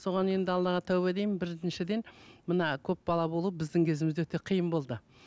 соған енді аллаға тәубе деймін біріншіден мына көпбалалы болу біздің кезімізде өте қиын болды